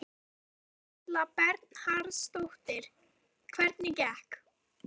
Berghildur Erla Bernharðsdóttir: Hvernig gekk?